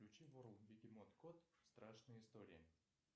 включи ворлд бегемот кот страшные истории